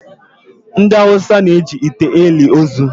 Ndị Awụsa na-eji ite elu ozu.